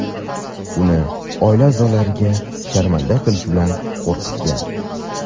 uni oila a’zolariga sharmanda qilish bilan qo‘rqitgan.